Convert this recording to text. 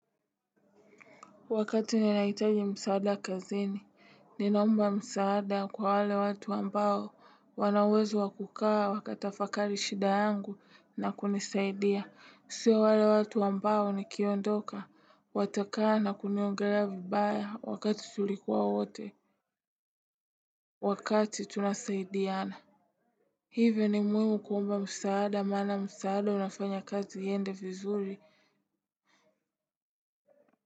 Wakati ninahitaji msaada kazini, ninaomba msaada kwa wale watu ambao wana uwezo wa kukaa wakatafakari shida yangu na kunisaidia. Siyo wale watu ambao nikiondoka, watakaa na kuniongelea vibaya wakati tulikuwa wote, wakati tunasaidiana. Hivyo ni muhimu kuomba msaada maana msaada unafanya kazi iende vizuri.